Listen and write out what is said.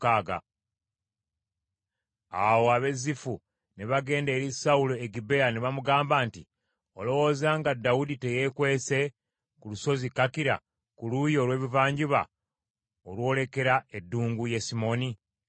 Awo ab’e Zifu ne bagenda eri Sawulo e Gibea ne bamugamba nti, “Olowooza nga Dawudi teyeekwese ku lusozi Kakira, ku luuyi olw’ebuvanjuba olwolekera eddungu Yesimoni?”